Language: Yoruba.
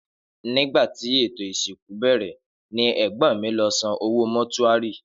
Nígbàtí ètò ìsìnkú bèrè ní ègbón mí lọ san owó mótúárì